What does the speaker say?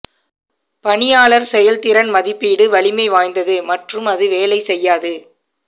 பணியாளர் செயல்திறன் மதிப்பீடு வலிமை வாய்ந்தது மற்றும் அது வேலை செய்யாது